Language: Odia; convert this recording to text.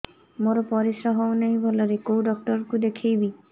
ମୋର ପରିଶ୍ରା ହଉନାହିଁ ଭଲରେ କୋଉ ଡକ୍ଟର କୁ ଦେଖେଇବି